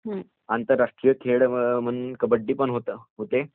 आंतरराष्ट्रीय खेळ म्हणून कबड्डी पण होते